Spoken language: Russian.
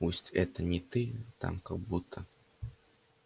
пусть это не ты там как будто